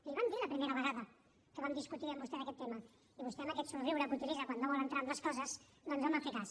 li ho vam dir la primera vegada que vam discutir amb vostè d’aquest tema i vostè amb aquest somriure que utilitza quan no vol entrar en les coses doncs no en va fer cas